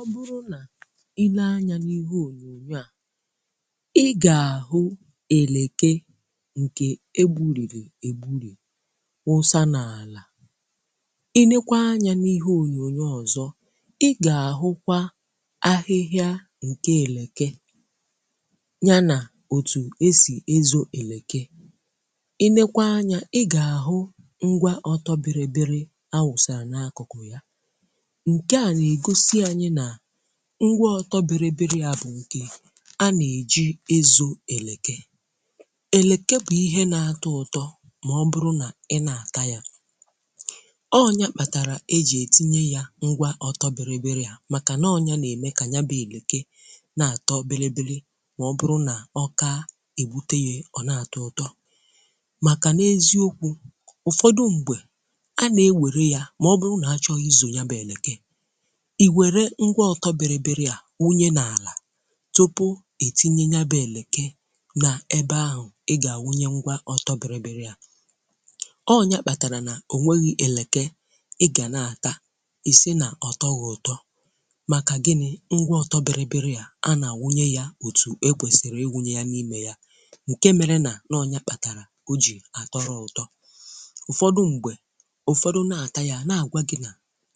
Ọ bụrụ nà ile anya n’ihe ònyònyo à, ị ga-ahụ eleke ǹkè egburìrì ègbùrì wụsa n’àlà. I nekwa anya n’ihe ònyònyo ọzọ, ị ga-ahụkwa ahịhịa ǹkè eleke ya nà òtù e sì ezo eleke. I nekwa anya, ị ga-ahụ ngwa ọtọ biribiri awụsa n’akụkụ ya; nke a negọsi anyị na ngwa ọtọbirbirì ya bụ nke a na-eji ezo elekè. Eleke bụ ihe na-atọ ụtọ mà ọbụrụ nà ị na-ata yà; ọnya kpàtàrà eji etinye ya ngwa ọtọbirbirì a màkà na ọnya na-eme ka ya bụ elekè na-atọ biribiri mà ọbụrụ nà ọka, ebute ya, ọ na-atọ ụtọ màkà na-eziokwù. Ụfọdụ m̀gbè, a na-ewere yà mà ọ bụ nà-achọghị izo ya bụ elekè, ị were ngwa ọtọbirbirì a wụye n'ala tupu itinye yabụ èlekè na-ebe ahụ, ị ga-awụnye ngwa ọtọbiribiri à. Ọnya kpàtàrà na ọ nweghị èlekè, ị ga na-ata isi na ọtọghị ụtọ màkà gini? Ngwa ọtọbịrịbiri à a na-awụnye yà otù ekwèsìrì ewunye yà n’ime yà, nke mere nà n'ọnya kpàtàrà ọ jì atọrọ ụtọ. Ụfọdụ m̀gbè, ụfọdụ na-ata yà, na-agwà gị nà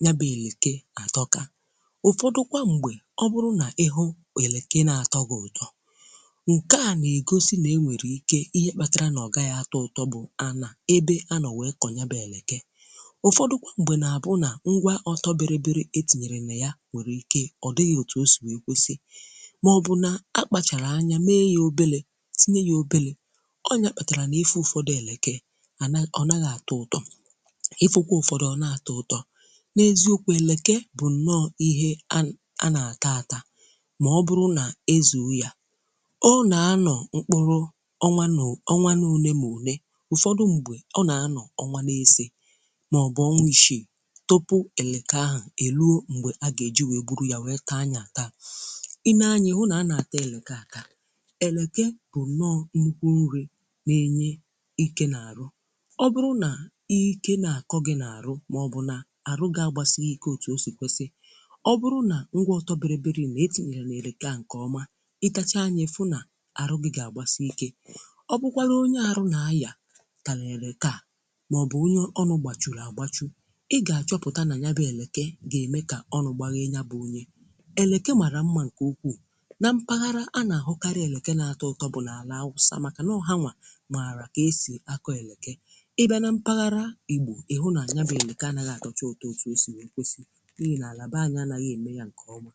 ya bụ èlekè atọka. Ụfọdụ m̀gbè, ọ bụrụ nà ịhụ eleke na-atọ gị ụtọ; ǹkè a na-egosi nà e nwèrè ike ihe kpàtàrà nà ọ gaghị atọ ụtọ bụ anà-ebe anọ nwèe kọ yabụ elekè. Ụfọdụ kwa m̀gbè nà abụ nà ngwa ọtọ bịrịbịrị etìnyèrè nà ya nwèrè ike ọ dịghị otu ọ sì nwèe kwesì mà ọ bụ nà akpàchàrà anya mee yȧ obele tinye yȧ obele. Ọnyà kpàtàrà nà ifụ ụfọdụ elekè ànà, ọ nagha atọ ụtọ; ifụ kwa ụfọdụ, ọ na-atọ ụtọ. N’eziokwu elekè bụ nọọ ihe àn, à nata ata, mà ọ bụrụ nà-ezù ya, ọ na-anọ mkpụrụ ọnwanụ ọnwanụ onè mà onè. Ụfọdụ m̀gbè, ọ na-anọ ọnwanụ n'ese mà ọ bụ ọnwa ịsị tupu eleke ahụ eluọ mgbe a ga-eji wee gburu ya wee taa ya taa, ịne anya, ịhụ na a na-ata eleke ata, eleke bụ nnọ nnụkwụ nri na-enye ike n’arụ. Ọ bụrụ na ike na-akọ gị n’arụ mà ọ bụ nà arụ ga-agbasịghị ike otù o si kwesi. Ọ bụrụ na ngwa ọtọbirbirì na-etinyere na-elékà nke ọma, ịtachaa ya ịfù nà-arụ gị ga-agbasì ike. Ọ bụkwara onye arụ na-aya talà eleke a mà ọ bụ onye ọnụ gbachụrụ agbachụ, ị ga-achọpụta na yabụ eleke ga-eme kà ọnụ gbaghe ya bụ onye. Eleka màrà mma nke ukwù na mpaghara anà ahụkarị eleke na-atọ ụtọ bụ na àlà Awụsa màkà na ọha nwa mààrà ka esì akọ eleke. Ị bịà na mpaghara Igbò, ị hụ na yabụ eleke anàgha atọchà ụtọ ọtụ sì nwe kwesi n’ihi na-alabàghị anaghi emè yà ǹkè ọma.